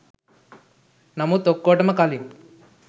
නමුත් ඔක්කොටම කලින්